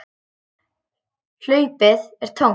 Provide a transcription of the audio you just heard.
Hlaupið er tómt.